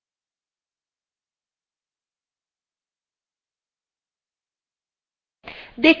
আমাদের directory of path variable এর একটি অংশ হয়ে গেছে